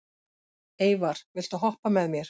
Eyvar, viltu hoppa með mér?